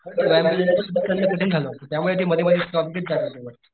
त्यामुळं ते मध्ये मध्ये स्टॉप घेत जाते होते वर.